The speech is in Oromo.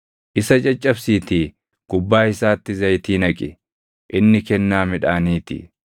Isa caccabsiitii gubbaa isaatti zayitii naqi; inni kennaa midhaanii ti.